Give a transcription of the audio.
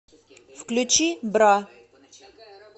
включи бра